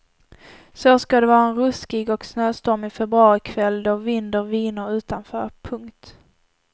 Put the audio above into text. Så ska det vara en ruskig och snöstormig februarikväll då vinder viner utanför. punkt